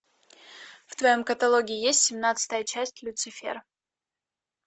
в твоем каталоге есть семнадцатая часть люцифера